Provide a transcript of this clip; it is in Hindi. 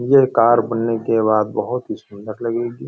ये कार बनने के बाद बहुत ही सुन्दर लगेगी।